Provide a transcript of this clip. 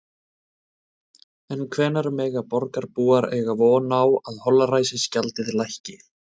En hvenær mega borgarbúar eiga von á að holræsagjaldið lækki?